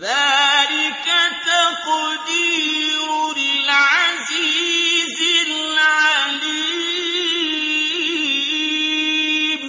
ذَٰلِكَ تَقْدِيرُ الْعَزِيزِ الْعَلِيمِ